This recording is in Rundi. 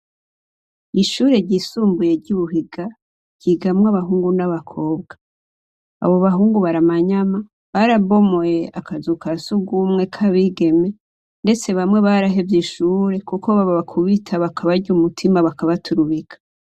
Ishure ryisumbuye ry'ubuhiga ryigamwo abahungu n'abakobwa abo bahungu baramanyama barabomoye akazuka siugumwe k'abigeme, ndetse bamwe baraho evye ishure, kuko baba bakubita bakabarya umutima bakabaturubika.